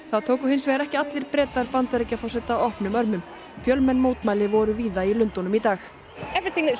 það tóku hins vegar ekki allir Bretar Bandaríkjaforseta opnum örmum fjölmenn mótmæli voru í Lundúnum í dag